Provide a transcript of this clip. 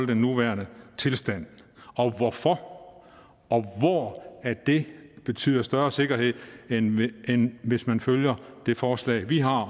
den nuværende tilstand og hvorfor og hvor det betyder større sikkerhed end hvis man følger det forslag vi har